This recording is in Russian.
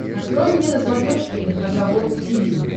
открой мне на смотрешке эн эйч кей волд ти ви